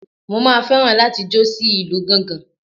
Mo máa fẹ́ràn láti jó sí ìlú gángan.